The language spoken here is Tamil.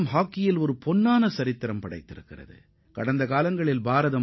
ஹாக்கி விளையாட்டில் இந்தியா பொன் எழுத்துக்களால் பொறிக்கப்பட வேண்டிய சாதனைகளை படைத்துள்ளது